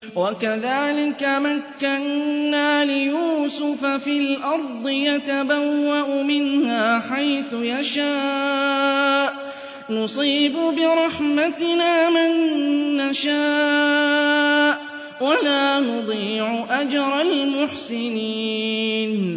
وَكَذَٰلِكَ مَكَّنَّا لِيُوسُفَ فِي الْأَرْضِ يَتَبَوَّأُ مِنْهَا حَيْثُ يَشَاءُ ۚ نُصِيبُ بِرَحْمَتِنَا مَن نَّشَاءُ ۖ وَلَا نُضِيعُ أَجْرَ الْمُحْسِنِينَ